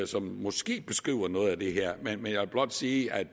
som måske beskriver noget af det her men jeg vil blot sige at